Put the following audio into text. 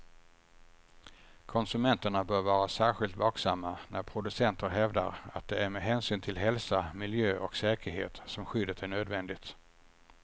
Konsumenterna bör vara särskilt vaksamma när producenter hävdar att det är med hänsyn till hälsa, miljö och säkerhet som skyddet är nödvändigt.